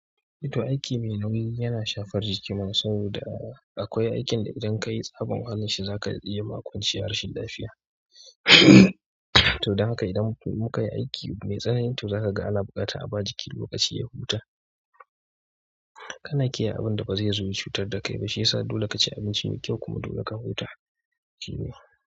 To aiki mai nauyi yana shafar jiki man sau da akwai aikin da idan kayi tsabon ahalin shi zaka iya makwanci harshen lafiya. To don haka idan muka yi aiki mai tsanani to zaka ga ana buƙata a ba jiki lokaci ya huta. Kana kiyaye abin da bazaizo ya cutar da kai ba shiyasa dole ka ci abinci mai kyau kuma dole ka huta.